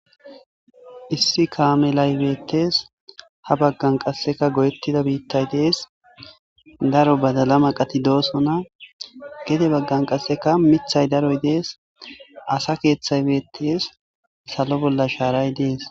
Issi kamelay beettes ha baggan qasekka goyettida biittaykka dees daro baddalla maqatti dossonna gedde baggan qasekka miiththay daroy dees asakeththay bettees salo bollakka shaaray bettes